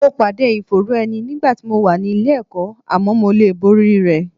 Mo pàdé ìfòòró ẹni nígbà tí mo wà nílé ẹ̀kọ́, àmọ́ mo lè borí rẹ̀